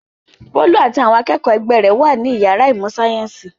Bólú àti àwọn akẹ́kọ̀ọ́ ẹgbẹ́ rẹ̀ wà ní ìyàrá ìmọ̀-sáyẹ́ńsì.